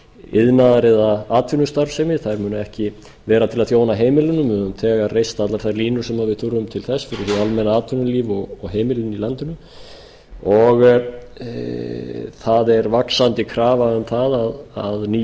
iðnaðar eða atvinnustarfsemi þeir munu ekki vera til að þjóna heimilunum við höfum þegar reist allar þær línur sem við þurfum til þess fyrir hið almenna atvinnulíf og heimilin í landinu það er vaxandi krafa um það að ný